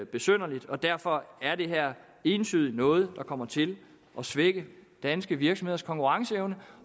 besynderligt og derfor er det her entydigt noget der kommer til at svække danske virksomheders konkurrenceevne